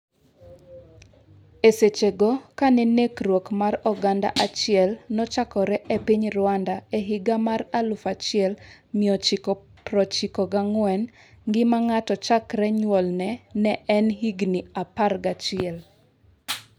E seche go, kane nekruok mar oganda achiel nochakore e piny Rwanda e higa mar 1994, ngima ng'ato chakre nyuolne ne en higni 11.